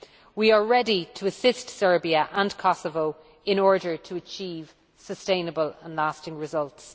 We are ready to assist Serbia and Kosovo in order to achieve sustainable and lasting results.